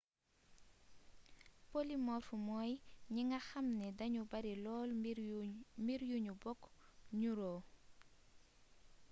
polymorphe mooy ñi nga xamni dañu bari lool mbir yu ñu bokk nuróo